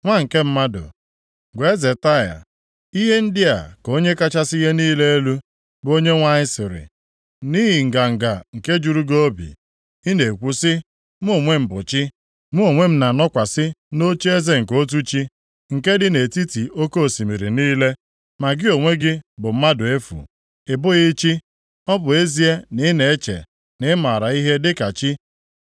“Nwa nke mmadụ, gwa eze Taịa, ‘Ihe ndị a ka Onye kachasị ihe niile elu, bụ Onyenwe anyị sịrị: “ ‘Nʼihi nganga nke juru gị obi, ị na-ekwu sị, “Mụ onwe m bụ chi, mụ onwe m na-anọkwasị nʼocheeze nke otu chi, nke dị nʼetiti oke osimiri niile.” Ma gị onwe gị bụ mmadụ efu, ị bụghị chi, + 28:2 Maọbụ, Chineke ọ bụ ezie na ị na-eche na ị mara ihe dịka chi. + 28:2 Maọbụ, Chineke